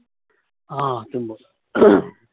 আহ তুমি বলো